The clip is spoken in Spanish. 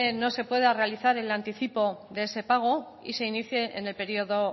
no se pueda realizar el anticipo de ese pago y se inicie en el periodo